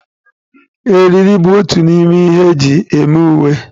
Eriri bụ otu n'ime ihe eji eme uwe.